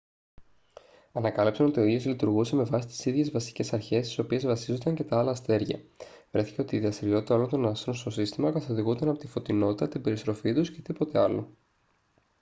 ανακάλυψαν ότι ο ήλιος λειτουργούσε με βάση τις ίδιες βασικές αρχές στις οποίες βασίζονταν και τα άλλα αστέρια βρέθηκε ότι η δραστηριότητα όλων των άστρων στο σύστημα καθοδηγούνταν από τη φωτεινότητα την περιστροφή τους και τίποτα άλλο